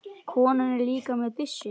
Konan er líka með byssu.